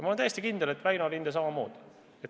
Ma olen täiesti kindel, et Väino Linde tegutseb samamoodi.